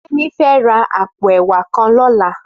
Femi fè rà àpó èwà kàn lòlá